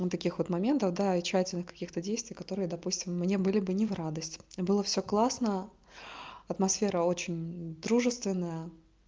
вот таких вот моментов да и тщательных каких-то действий которые допустим мне были бы не в радость и было всё классно атмосфера очень дружественная